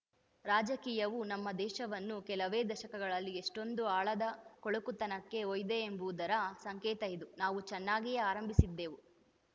ರಾಜಕೀಯವು ನಮ್ಮ ದೇಶವನ್ನು ಕೆಲವೇ ದಶಕಗಳಲ್ಲಿ ಎಷ್ಟೊಂದು ಆಳದ ಕೊಳಕುತನಕ್ಕೆ ಒಯ್ದಿದೆ ಎಂಬುದರ ಸಂಕೇತ ಇದು ನಾವು ಚೆನ್ನಾಗಿಯೇ ಆರಂಭಿಸಿದ್ದೆವು